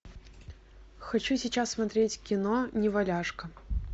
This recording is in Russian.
хочу сейчас смотреть кино неваляшка